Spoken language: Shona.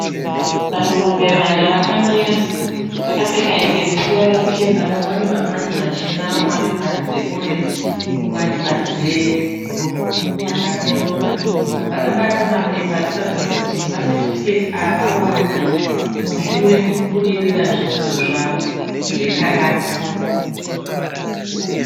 Vanhurume vana vakamira vakapfeka hembe dzine ruvara ruchena. Vamwe vane mabhandi machena vamwe vane bhandi reorenji. Umwe ane bhandi rebhuruu akatonona. Vakabata mapepa arikuratidza kuti masetifiketi awawana mushure mokubudirira zvidzidzo zvavo zvekarati.